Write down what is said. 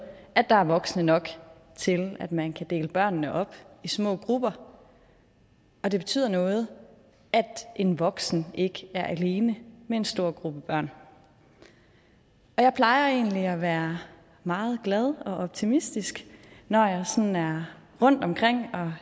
at der er voksne nok til at man kan dele børnene op i små grupper og det betyder noget at en voksen ikke er alene med en stor gruppe børn jeg plejer egentlig at være meget glad og optimistisk når jeg sådan er rundtomkring at